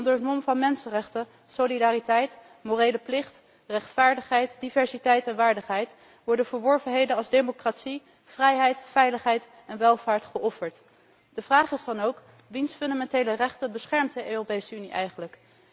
Onder het mom van mensenrechten, solidariteit, morele plicht, rechtvaardigheid, diversiteit en waardigheid worden verworvenheden als democratie, vrijheid, veiligheid en welvaart geofferd. De vraag is dan ook wiens grondrechten beschermt de Europese Unie eigenlijk?